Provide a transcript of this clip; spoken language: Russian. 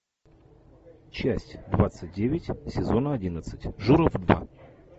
часть двадцать девять сезона одиннадцать журов два